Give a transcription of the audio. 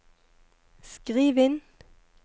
skriv inn